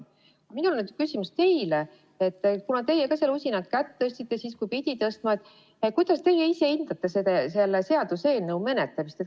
Minul on teile küsimus, kuna te ka ise seal usinalt kätt tõstsite, kui pidi tõstma, et kuidas te ise hindate selle seaduseelnõu menetlemist.